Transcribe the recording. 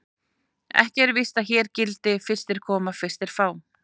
Ekki er víst að hér gildi: Fyrstir koma, fyrstir fá.